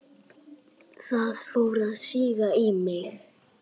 Það fór að síga í mig.